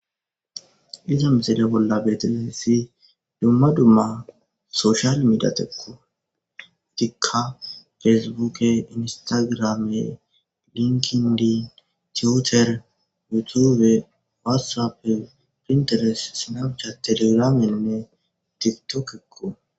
Izo misile bolla beteesi dumma dumma soshal midatekko etikka fesbuke instagramme linkindiin tioter yutofe waassappe pinteres sinapchat telegramenne digtokekko.